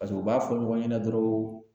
Paseke u b'a fɔ ɲɔgɔn ɲɛna dɔrɔn